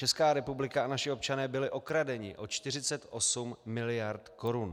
Česká republika a naši občané byli okradeni o 48 mld. korun.